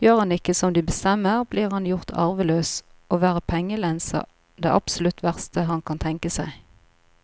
Gjør han ikke som de bestemmer, blir han gjort arveløs, og å være pengelens er det absolutt verste han kan tenke seg.